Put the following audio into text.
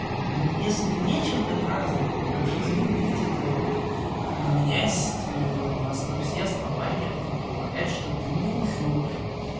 ну если нечем доказывать но уж извините тогда у меня есть все основания предполагать что ты мне лжёшь